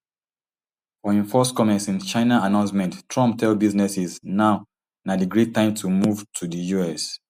for im first comment since china announcement trump tell businesses now na di great time to move to di us